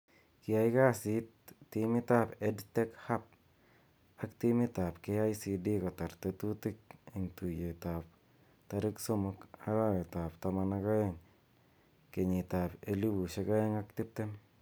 Kiai kasit timit ab EdTech Hub ak timit ab KICD kotar tetutik eng tuyet ab tarik somok arawet ab taman ak ae'ng 2020.